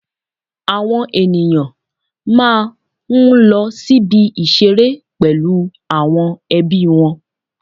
Àwọn ènìyàn máa ń lọ sí ibi ìṣeré pẹ̀lú àwọn ẹbí wọn